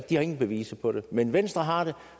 de har ingen beviser på det men venstre har det og